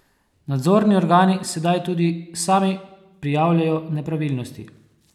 Nadzorni organi sedaj tudi sami prijavljajo nepravilnosti?